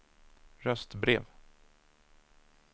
röstbrev